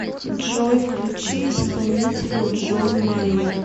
джой включи исполнителя джон майер